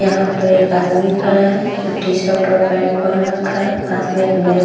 यहाँ पर एक आदमी खड़ा है जो टी-शर्ट और पेंट पहन रखा है पास में एक बैग --